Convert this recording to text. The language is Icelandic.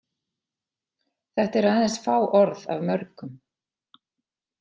Þetta eru aðeins fá orð af mörgum.